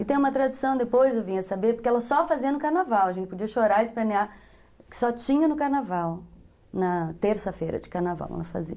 E tem uma tradição, depois eu vim a saber, porque ela só fazia no carnaval, a gente podia chorar e espanear, que só tinha no carnaval, na terça-feira de carnaval ela fazia.